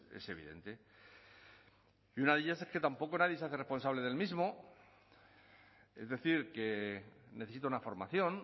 es evidente y una de ellas es que tampoco nadie se hace responsable del mismo es decir que necesita una formación